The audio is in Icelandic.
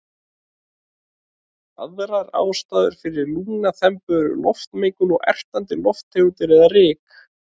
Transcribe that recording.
Aðrar ástæður fyrir lungnaþembu eru loftmengun og ertandi lofttegundir eða ryk.